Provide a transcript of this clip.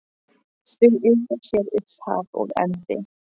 Þau eiga sér upphaf og endi.